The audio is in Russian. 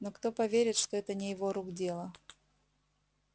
но кто поверит что это не его рук дело